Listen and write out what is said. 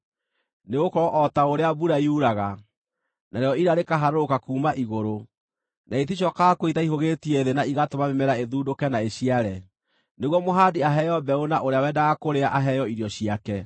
Nĩgũkorwo o ta ũrĩa mbura yuraga, narĩo ira rĩkaharũrũka kuuma igũrũ, na iticookaga kuo itaihũgĩtie thĩ na igatũma mĩmera ĩthundũke na ĩciare, nĩguo mũhandi aheo mbeũ na ũrĩa wendaga kũrĩa aheo irio ciake,